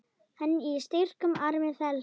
Hann í styrkum armi felst.